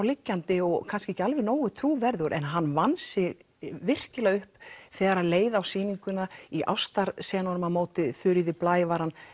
liggjandi og kannski ekki alveg nógu trúverðugur en hann vann sig virkilega upp þegar leið á sýninguna í ástarsenunum á móti Þuríði Blæ var hann